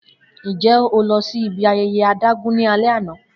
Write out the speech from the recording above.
Njẹ o lọ si ibi ayẹyẹ adágún ni alẹ ana?